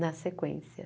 Na sequência.